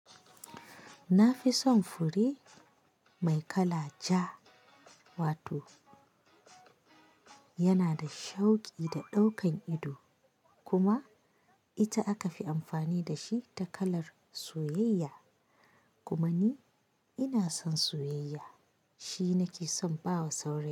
Na fi son fure mai kala ja, wato yana da shauƙi da daukan ido kuma ita aka fi amfani da shi ta kalar soyayya. Kuma ni ina son soyayya, shi nake son ba wa sauri.